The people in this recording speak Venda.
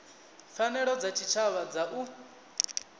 pfanelo dza tshitshavha dza u